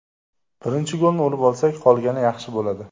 Birinchi golni urib olsak, qolgani yaxshi bo‘ladi.